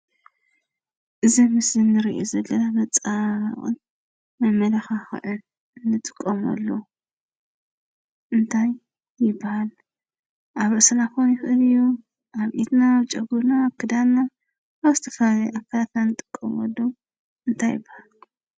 እዚ ምስሊ እንሬኦ ዘለና መፀባብቅን መመላክዒ እንጥቀመሉ እንታይ ይበሃል? ኣብ ርእስና ክኮን ይክእል እዩ፣ ኣብ ኢድና፣ ኣብ ጨጉሩና ፣ኣብ ክዳንና ኣብ ዝተፈላለዩ ኣካላትና እንጥቀመሉ እንታይ ይበሃል?